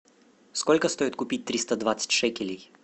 сколько стоит купить триста двадцать шекелей